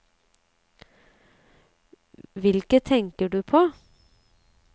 Hvilke tenker du på?